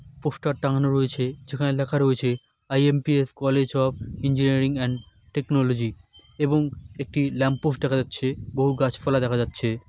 Poster টাঙানো রয়েছে যেখানে লেখা রয়েছে IMPS college of engineering and technology এবং একটি ল্যাম্প পোস্ট দেখা যাচ্ছে বহু গাছপালা দেখা যাচ্ছে।